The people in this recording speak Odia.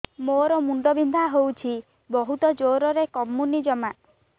ମୋର ମୁଣ୍ଡ ବିନ୍ଧା ହଉଛି ବହୁତ ଜୋରରେ କମୁନି ଜମା